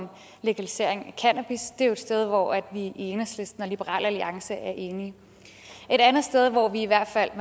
om legalisering af cannabis det er jo et sted hvor vi i enhedslisten og liberal alliance er enige et andet sted hvor vi i hvert fald